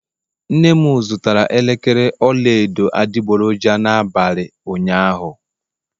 nnem zụtara elekere ọla edo adịgboroja n'abalị ụnyaahụ